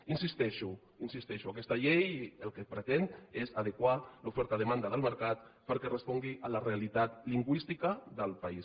hi insisteixo hi insisteixo aquesta llei el que pretén és adequar l’oferta demanda del mercat perquè respongui a la realitat lingüística del país